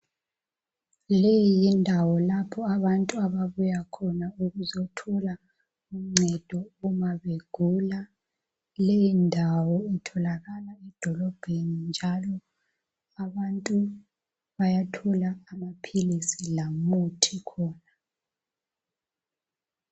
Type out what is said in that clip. Leyi yindawo lapho abantu ababuya khona ukuzothola uncedo uma begula. Leyi ndawo itholakala edolobheni njalo njalo abantu bayathola amaphilisi lomuthi khona.